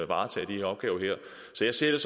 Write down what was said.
varetage de her opgaver så jeg ser